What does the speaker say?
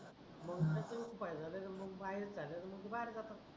मग त्याच उपाय झाल का मग बाहेर चाले का मग ते बाहेर जातात